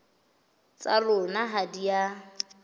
tsa lona ha di a